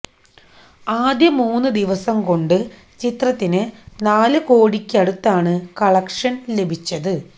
ആദ്യ മൂന്ന് ദിവസം കൊണ്ട് ചിത്രത്തിന് നാല് കോടിക്ക് അടുത്താണ് കളക്ഷന് ലഭിച്ചത്